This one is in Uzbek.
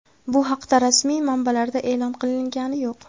Bu haqda rasmiy manbalarda e’lon qilingani yo‘q.